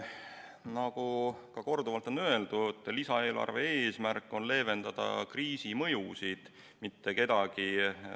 Nagu korduvalt on öeldud, lisaeelarve eesmärk on leevendada kriisi mõjusid, mitte kedagi premeerida.